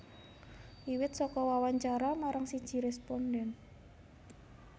Wiwit saka wawancara marang siji rèspondhen